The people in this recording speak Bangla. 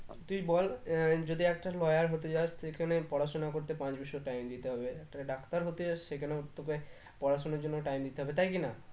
তুই বল আহ যদি একটা lawyer হতে যাস সেখানে পড়াশোনা করতে পাঁচ বছর time দিতে হবে একটা ডাক্তার হতে যাস সেখানেও তোকে পড়াশোনার জন্য time দিতে হবে তাই কি না